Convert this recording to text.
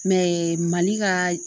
Mɛ mali ka